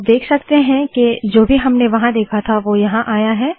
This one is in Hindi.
आप देख सकते है के जो भी हमने वहाँ देखा था वो यहाँ आया है